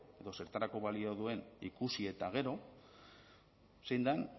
edo zertarako balio duen ikusi eta gero zein den